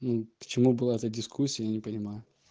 ну почему была эта дискуссия я не понимаю